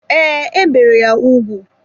Ee, e bere ya ugwu.